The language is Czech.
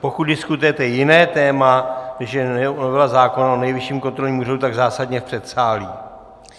Pokud diskutujete jiné téma, než je novela zákona o Nejvyšším kontrolním úřadu, tak zásadně v předsálí.